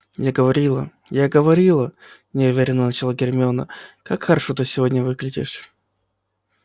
я говорила я говорила неуверённо начала гермиона как хорошо ты сегодня выглядишь